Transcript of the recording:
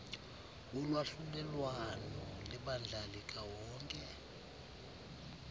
wolwahlulelwano lebandla likawonke